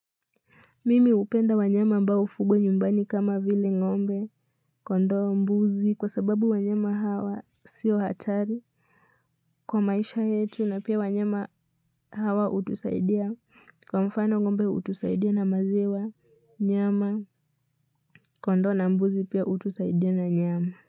Mimi hupenda wanyama ambao ufugo nyumbani kama vile ng'ombe kondo mbuzi kwa sababu wanyama hawa sio hatari. Kwa maisha yetu na pia wanyama hawa utusaidia. Kwa mfano ng'ombe hutusaidia na maziwa, nyama kondoo na mbuzi pia utusaidia na nyama.